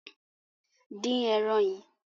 Dín ẹran yìí!